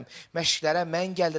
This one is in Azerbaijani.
Məşqlərə mən gəlirəm.